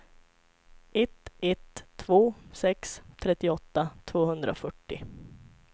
ett ett två sex trettioåtta tvåhundrafyrtio